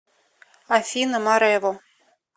афина марэво